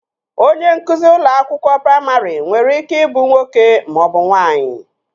Onye nkụzi ụlọ akwụkwọ praimarị nwere ike ị bụ nwoke maọbụ nwaanyị